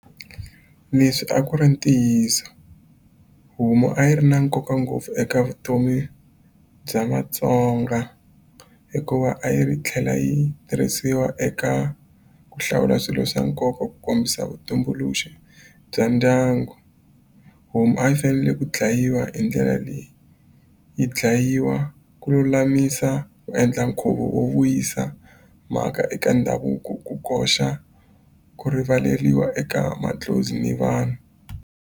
Leswi a ku ri ntiyiso homu a yi ri na nkoka ngopfu eka vutomi bya Vatsonga hikuva a yi tlhela yi tirhisiwa eka ku hlawula swilo swa nkoka ku kombisa vutumbuluxi bya ndyangu homu a yi fanele ku dlayiwa hi ndlela leyi yi dlayiwa ku lulamisa ku endla nkhuvo wo vuyisa mhaka eka ndhavuko ku koxa ku rivaleliwa eka mandlhozi ni vanhu.